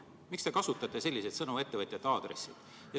Miks te kasutate selliseid sõnu ettevõtjate aadressil?